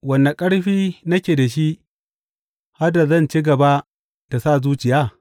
Wane ƙarfi nake da shi, har da zan ci gaba da sa zuciya?